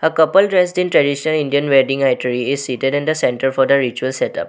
uh couple dressed in traditional indian wedding itinerary is seated in the center for the ritual setup.